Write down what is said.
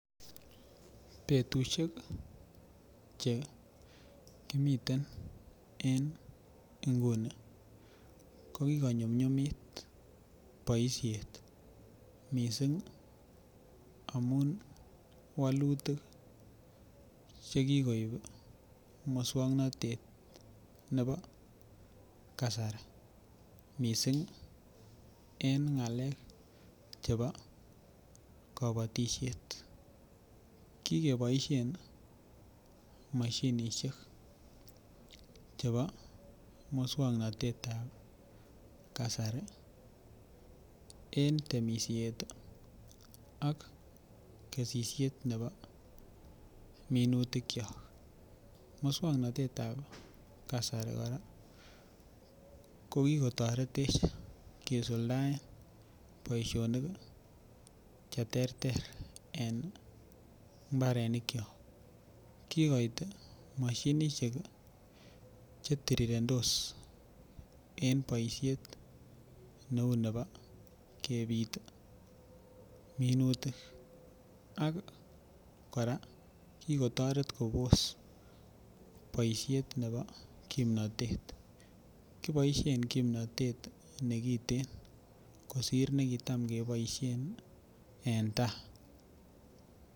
Betusiek Che kimiten en nguni ko ki konyumnyumit boisiet mising amun wolutik Che kikoib moswoknatet nebo kasari mising en ngalekab chebo kabatisiet ki keboisien mashinisiek Chebo moswoknatet ab kasari en temisiet ak kesisiet nebo minutikyok moswoknatetab kasari kora ki kotoretech kisuldaen boisionik Che terter en mbarenikyok kigoit mashinisiek Che tirirendos en boisiet neu nebo kebit minutik ak kora kigotoret kobos boisiet nebo kimnatet kosir nekitam keboisien en tai